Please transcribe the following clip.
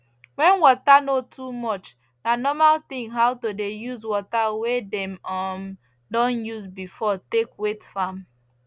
when water no too much na normal thing now to dey use water wey dem um don use before take wet farm